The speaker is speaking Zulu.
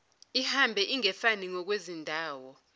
ihambe ingefani ngokwezindawo